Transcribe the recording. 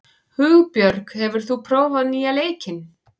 Hugbjörg, hefur þú prófað nýja leikinn?